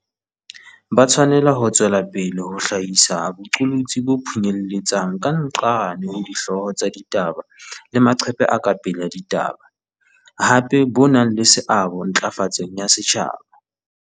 Ba tshwanela ho tswela pele ho hlahisa boqolotsi bo phunyeletsang ka nqane ho dihloho tsa ditaba le maqephe a ka pele a ditaba, hape bo nang le seabo ntla fatsong ya setjhaba.